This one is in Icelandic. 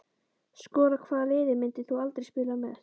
Skora Hvaða liði myndir þú aldrei spila með?